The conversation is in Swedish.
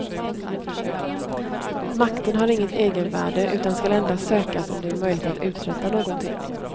Makten har inget egenvärde utan skall endast sökas om det är möjligt att uträtta någonting.